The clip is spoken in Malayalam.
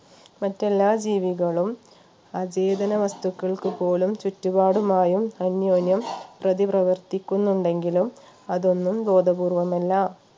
മറ്റെല്ലാ ജീവികളും അജൈവന വസ്തുക്കൾക്ക് പോലും ചുറ്റുപാടുമായും അന്യോന്യം പ്രതി പ്രവർത്തിക്കുന്നുണ്ടെങ്കിലും അതൊന്നും ബോധപൂർവ്വം അല്ല